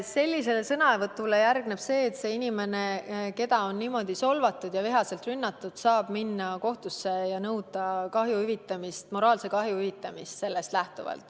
Sellisele sõnavõtule järgneb see, et see inimene, keda on niimoodi solvatud ja vihaselt rünnatud, saab minna kohtusse ja nõuda kahju hüvitamist, moraalse kahju hüvitamist.